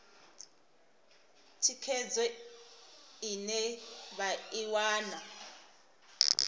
thikhedzo ine vha i wana